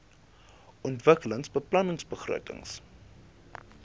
ontwikkelingsbeplanningbegrotings